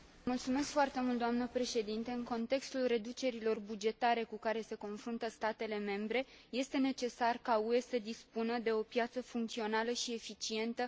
În contextul reducerilor bugetare cu care se confruntă statele membre, este necesar ca UE să dispună de o piață funcțională și eficientă a achizițiilor publice.